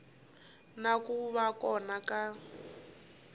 na ku va kona ka